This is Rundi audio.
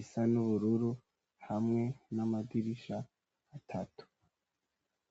isa n'ubururu, hamwe n'amadirisha atatu.